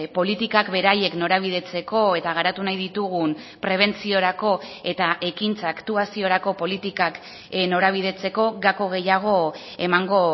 politikak beraiek norabidetzeko eta garatu nahi ditugun prebentziorako eta ekintza aktuaziorako politikak norabidetzeko gako gehiago emango